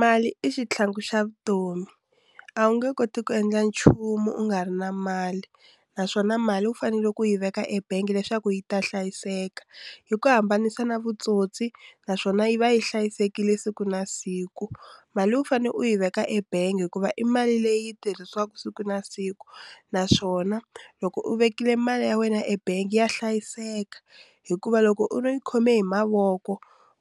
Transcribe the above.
Mali i xitlhangu xa vutomi a wu nge koti ku endla nchumu u nga ri na mali naswona mali wu fanele ku yi veka ebangi leswaku yi ta hlayiseka hi ku hambanisa na vutsotsi naswona yi va yi hlayisekile siku na siku. Mali u fanele u yi veka ebangi hikuva i mali leyi tirhisiwaka siku na siku naswona loko u vekile mali ya wena ebangi ya hlayiseka hikuva loko u no khome hi mavoko